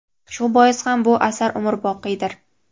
Shu bois ham bu asar umrboqiydir.